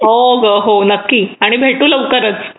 हो, हो नक्की आणि भेटू लवकरच